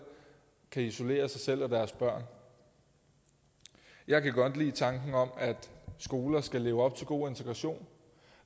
kan isolere sig selv og deres børn jeg kan godt lide tanken om at skoler skal leve op til god integration